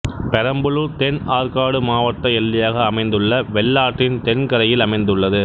பெரம்பலூர்தென் ஆற்காடு மாவட்ட எல்லையாக அமைந்துள்ள வெள்ளாற்றின் தென் கரையில் அமைந்துள்ளது